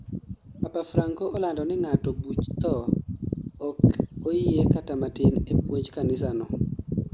Papa Franco olando ni ng'ado buch thoo ok oyie kata matin e puonj kanisano